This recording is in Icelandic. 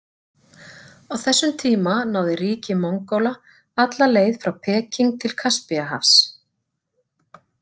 Á þessum tíma náði ríki Mongóla alla leið frá Peking til Kaspíahafs.